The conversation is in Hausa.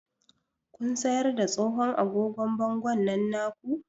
Kun siyar da tsohon agogon bangon nan na ku?